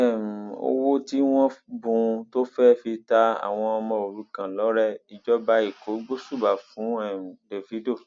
torí um owó tí wọn bùn ún tó fẹẹ fi ta àwọn ọmọ òrukàn lọrẹ ìjọba ẹkọ gbóṣùbà fún um dávido